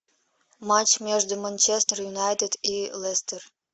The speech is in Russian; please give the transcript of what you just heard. матч между манчестер юнайтед и лестер